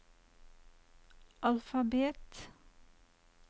alfabet